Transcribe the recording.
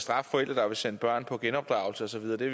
straffe forældre der vil sende deres børn på genopdragelse og så videre det